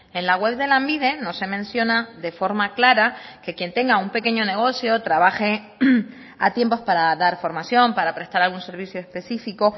en la web de lanbide no se menciona de forma clara que quien tenga un pequeño negocio trabaje a tiempos para dar formación para prestar algún servicio específico